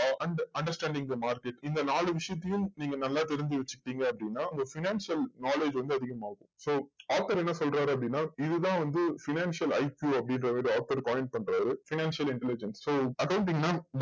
ah and understanding the market இந்த நாலு விஷயத்தையும் நீங்க நல்லா தெரிஞ்சு வச்சுகிட்டிங்க அப்டின்ன உங்க financial knowledge வந்து அதிகமாகும் so என்ன சொல்றாரு அப்டின்ன இது தான் வந்து financialIP அப்டின்டு author calling பண்றாரு financial intelligent so அதேப்டின்ன